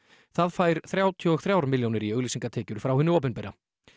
það fær þrjátíu og þrjár milljónir í auglýsingatekjur frá hinu opinbera